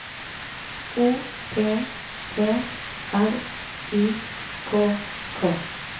O P P R Y K K